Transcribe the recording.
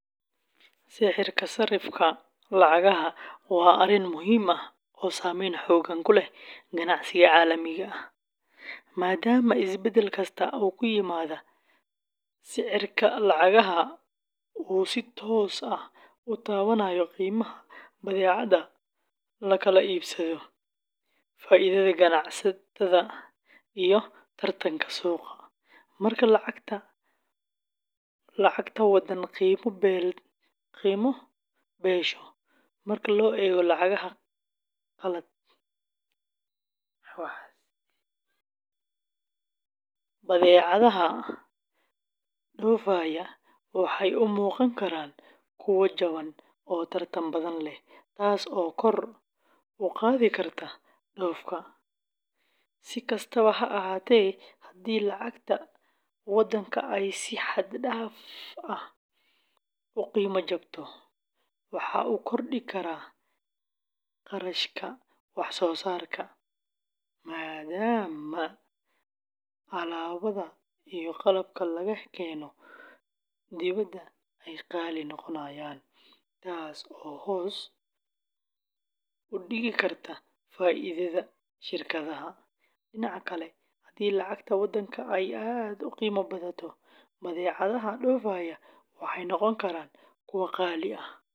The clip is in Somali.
Sicirka sarrifka lacagaha waa arrin muhiim ah oo saameyn xooggan ku leh ganacsiga caalamiga ah, maadaama isbedel kasta oo ku yimaada sicirka lacagaha uu si toos ah u taabanayo qiimaha badeecadaha la kala iibsado, faa’iidada ganacsatada, iyo tartanka suuqa. Marka lacagta waddan qiima beelato marka loo eego lacagaha qalaad, badeecadaha dhoofaya waxay u muuqan karaan kuwo jaban oo tartan badan leh, taas oo kor u qaadi karta dhoofka. Si kastaba ha ahaatee, haddii lacagta waddanka ay si xad dhaaf ah u qiimo jabto, waxa uu kordhi karaa kharashka wax soo saarka maadaama alaabada iyo qalabka laga keeno dibadda ay qaali noqonayaan, taas oo hoos u dhigi karta faa’iidada shirkadaha. Dhinaca kale, haddii lacagta waddanka ay aad u qiimo badato, badeecadaha dhoofaya waxay noqon karaan kuwo qaali ah.